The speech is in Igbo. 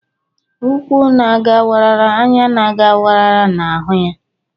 ukwu na a ga wara, anya na aga wara na hu ya.